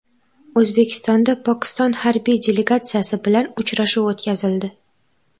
O‘zbekistonda Pokiston harbiy delegatsiyasi bilan uchrashuv o‘tkazildi.